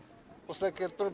осылай келіп тұр